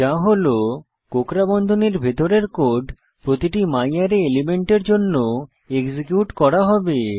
যা হল কোঁকড়া বন্ধনীর ভিতরের কোড প্রতিটি ম্যারে এলিমেন্টের জন্য এক্সিকিউট করা হবে